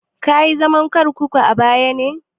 Kayi zaman kurkuku a baya na?